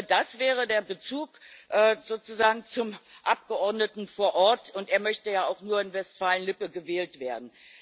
Das wäre der Bezug sozusagen zum Abgeordneten vor Ort, und er möchte ja auch nur in Westfalen Lippe gewählt werden.